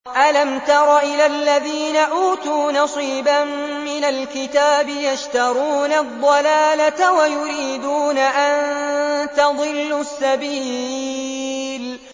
أَلَمْ تَرَ إِلَى الَّذِينَ أُوتُوا نَصِيبًا مِّنَ الْكِتَابِ يَشْتَرُونَ الضَّلَالَةَ وَيُرِيدُونَ أَن تَضِلُّوا السَّبِيلَ